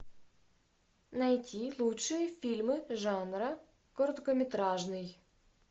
найти лучшие фильмы жанра короткометражный